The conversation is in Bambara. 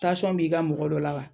Tansiyɔn b'i ka mɔgɔ dɔ la wa.